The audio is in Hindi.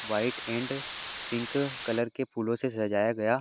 व्हाइट एंड पिंक कलर के फूलों से सजाया गया --